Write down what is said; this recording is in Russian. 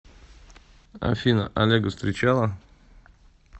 афина олега встречала